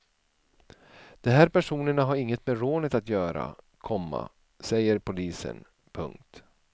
De här personerna har inget med rånet att göra, komma säger polisen. punkt